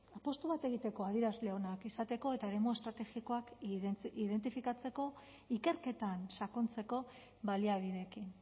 apustu bat egiteko adierazle onak izateko eta eremu estrategikoak identifikatzeko ikerketan sakontzeko baliabideekin